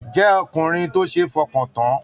Jẹ ọkùnrin tó ṣe f'ọkan tán!